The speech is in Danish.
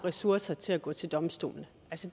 ressourcer til at gå til domstolene